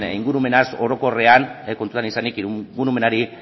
ingurumenaz orokorrean kontutan izanik ingurumenari